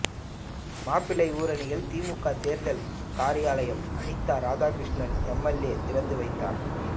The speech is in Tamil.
மாப்பிள்ளையூரணியில் திமுக தேர்தல் காரியாலயம் அனிதா ராதாகிருஷ்ணன் எம்எல்ஏ திறந்து வைத்தார்